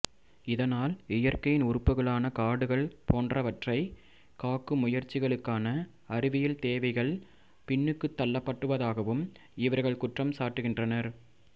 இதனால் இயற்கையின் உறுப்புகளான காடுகள் போன்றவற்றைக் காக்கும் முயற்சிகளுக்கான அறிவியல் தேவைகள் பின்னுக்குத் தள்ளப்படுவதாகவும் இவர்கள் குற்றம் சாட்டுகின்றனர்